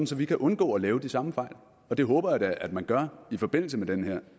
så vi kan undgå at lave de samme fejl det håber jeg da at man gør i forbindelse med den her